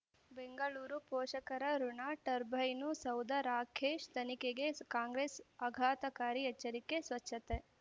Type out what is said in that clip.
ಬೆಂಗಳೂರು ಪೋಷಕರಋಣ ಟರ್ಬೈನು ಸೌಧ ರಾಕೇಶ್ ತನಿಖೆಗೆ ಕಾಂಗ್ರೆಸ್ ಆಘಾತಕಾರಿ ಎಚ್ಚರಿಕೆ ಸ್ವಚ್ಛತೆ